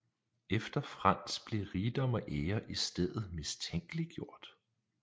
Efter Frans blev rigdom og ære i stedet mistænkeliggjort